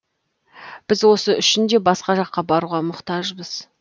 біз осы үшін де басқа жаққа баруға мұқтажбыз